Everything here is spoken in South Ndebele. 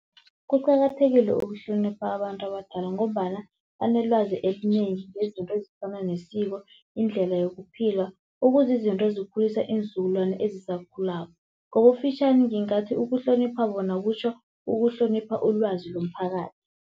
Kuqakathekile ukuhlonipha abantu abadala, ngombana banelwazi elinengi ngezinto ezifana nesiko, indlela yokuphila okuzizinto ezikhulisa iinzukulwana ezisakhulako. Ngokufitjhani ngingathi ukuhlonipha bona kutjho ukuhlonipha ulwazi lomphakathi.